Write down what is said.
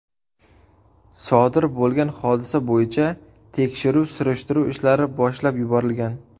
Sodir bo‘lgan hodisa bo‘yicha tekshiruv-surishtiruv ishlari boshlab yuborilgan.